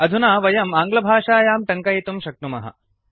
अधुना वयम् आङ्ग्लभाषायां टङ्कयितुं शक्नुमः